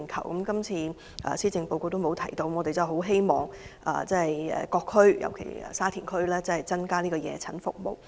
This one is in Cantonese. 可是，今次施政報告並沒有提及這方面，我希望政府能增加各區的夜診服務。